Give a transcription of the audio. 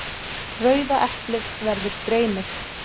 Rauða eplið verður dreymið.